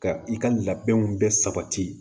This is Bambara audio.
Ka i ka labɛnw bɛɛ sabati